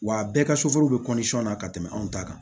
Wa bɛɛ ka bɛ na ka tɛmɛ anw ta kan